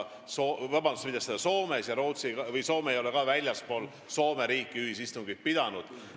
Nii et Soome ei ole väljaspool Soome riiki ühisistungit pidanud.